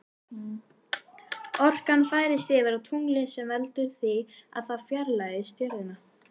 Orkan færist yfir á tunglið sem veldur því að það fjarlægist jörðina.